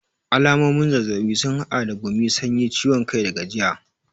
Alamomin zazzabi sun hada da gumi, sanyi, ciwon kai da gajiya.